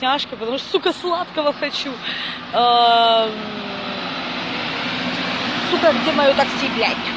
тяжко говорю сука сладкого хочу туда где моё такси блядь